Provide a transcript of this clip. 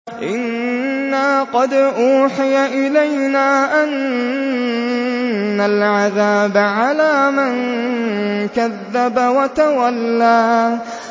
إِنَّا قَدْ أُوحِيَ إِلَيْنَا أَنَّ الْعَذَابَ عَلَىٰ مَن كَذَّبَ وَتَوَلَّىٰ